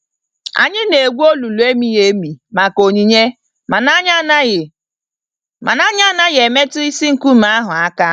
Anyị na-egwu olulu emighi-emi maka onyinye mana anyị anaghị mana anyị anaghị emetụ isi nkume ahụ aka.